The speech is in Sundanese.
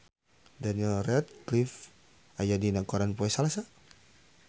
Daniel Radcliffe aya dina koran poe Salasa